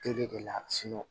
Tere de la